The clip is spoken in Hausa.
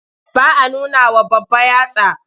Ba a nunawa babba yatsa.